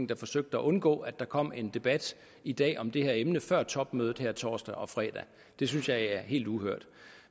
der forsøgte at undgå at der kom en debat i dag om det her emne før topmødet her torsdag og fredag det synes jeg er helt uhørt